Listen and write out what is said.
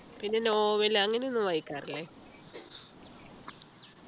പിന്നെ നോവൽ അങ്ങനെയൊന്നും വായിക്കാറില്ലേ